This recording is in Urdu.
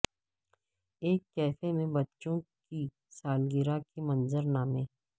ایک کیفے میں بچوں کی سالگرہ کے منظر نامے